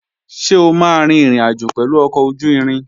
Ṣé o máa rin ìrìnàjò pẹ̀lú ọkọ̀ ojú-irin?